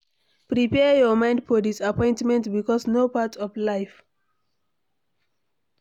Prepare your mind for diappointment because na part of life